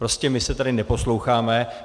Prostě my se tady neposloucháme.